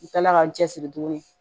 U kilala ka n cɛsiri tuguni